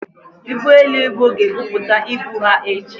ugboelu ibu ga-ebupata ibu ha echi.